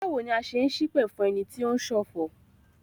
Báwo ni a ṣe n ṣipẹ̀ fún ẹni tí o ń ṣọ̀fọ̀?